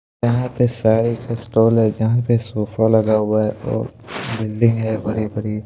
यहां पे साड़ी का स्टॉल है जहां पे सोफा लगा हुआ है और बिल्डिंग है बड़ी बड़ी।